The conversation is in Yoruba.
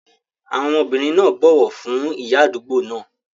Àwọn ọmọbìnrin náà bọ̀wọ̀ fún ìyá àdúgbò náà.